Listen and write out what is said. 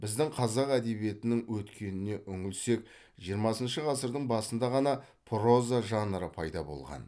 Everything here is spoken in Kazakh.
біздің қазақ әдебиетінің өткеніне үңілсек жиырмасыншы ғасырдың басында ғана проза жанры пайда болған